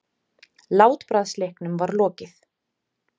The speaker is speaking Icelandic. Látbragðsleiknum var lokið.